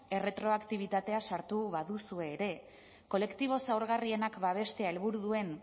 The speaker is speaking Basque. erretroaktibitatea sartu baduzu ere kolektibo zaurgarrienak babestea helburu duen